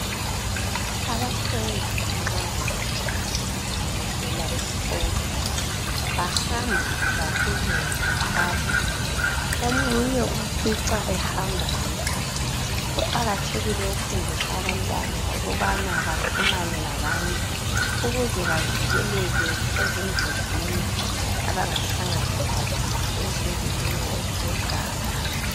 Abafundi nxa sebetshayisile bevela esikolo .Bahamba ngababili ngabathathu .Omunye umfica ehamba yedwa .Kuqakathekile ukufundisa abantwana ukubana baxhumane labanye ukuze bavikeleke ezingozini abangahlangana lazo ezindleleni ezile ganga .